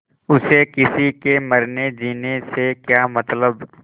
उसे किसी के मरनेजीने से क्या मतलब